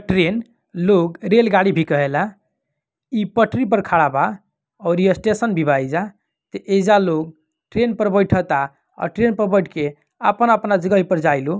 Train लोग रेलगाड़ी भी कहेला इ पटरी पर खड़ा बा और यह स्टेशन भी बहिजा तो इजा लोग ट्रेन पर बैठता और ट्रेन बैठ के अपना अपना जगह पे जाइलो।